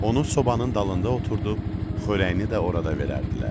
Onu sobanın dalında oturdub, xörəyini də orada verərdilər.